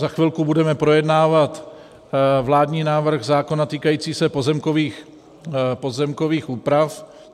Za chvilku budeme projednávat vládní návrh zákona týkající se pozemkových úprav.